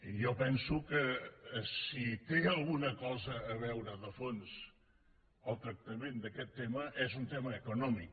i jo penso que si té alguna cosa a veure de fons el tractament d’aquest tema és un tema econòmic